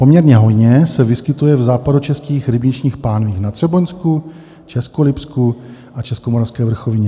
Poměrně hojně se vyskytuje v západočeských rybničních pánvích, na Třeboňsku, Českolipsku a Českomoravské vrchovině.